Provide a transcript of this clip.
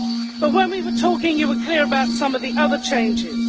But when we were talking, you were clear about some of the other changes.